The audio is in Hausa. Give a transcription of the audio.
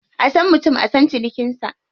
A san mutum a san cinikinsa.